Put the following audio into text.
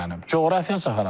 Coğrafiyası haradır?